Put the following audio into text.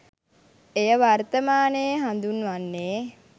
එය වර්තමානයේ හඳුන්වන්නේ